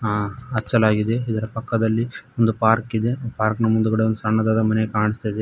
ಆ ಅಚ್ಚಲಾಗಿದೆ ಇದರ ಪಕ್ಕದಲ್ಲಿ ಒಂದು ಪಾರ್ಕ್ ಇದೆ ಪಾರ್ಕ್ ನ ಮುಂದೆಗಡೆ ಒಂದು ಸಣ್ಣದಾದ ಮನೆ ಕಾಣಿಸ್ತಾ ಇದೆ.